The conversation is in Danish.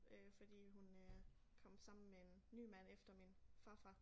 Øh fordi hun øh kom sammen med en ny mand efter min farfar